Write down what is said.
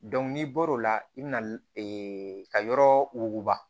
n'i bɔr'o la i bɛna ka yɔrɔ wuguba